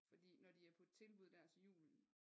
Fordi når de er på tilbud dér til julen